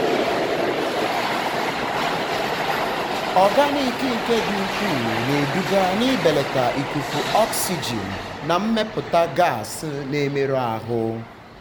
ọganiki nke dị ukwuu na-eduga n'ibelata ikuku oxygen na mmepụta gas na-emerụ ahụ.